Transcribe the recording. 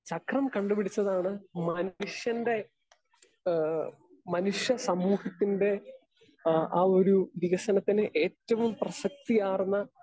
speaker 2 ചക്രം കണ്ടുപിടിച്ചതാണ് മാനുഷ്യൻ്റെ, ഏഹ് മനുഷ്യസമൂഹത്തിൻ്റെ, ആ ആ ഒരു വികസനത്തിന് ഏറ്റവും പ്രസക്തിയാർന്ന